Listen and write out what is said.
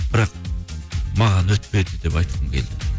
бірақ маған өтпеді деп айтқым келді